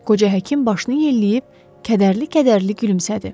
Qoca həkim başını yelləyib kədərli-kədərli gülümsədi.